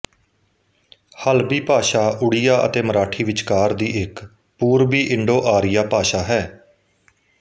ਹਲਬੀ ਭਾਸ਼ਾ ਉੜੀਆ ਅਤੇ ਮਰਾਠੀ ਵਿਚਕਾਰ ਦੀ ਇੱਕ ਪੂਰਬੀ ਇੰਡੋਆਰੀਆ ਭਾਸ਼ਾ ਹੈ